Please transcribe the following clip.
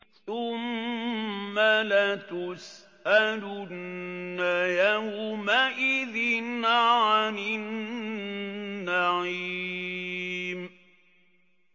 ثُمَّ لَتُسْأَلُنَّ يَوْمَئِذٍ عَنِ النَّعِيمِ